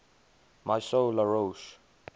maison la roche